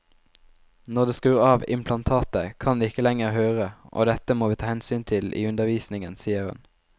Når de skrur av implantatet kan de ikke lenger høre, og dette må vi ta hensyn til i undervisningen, sier hun.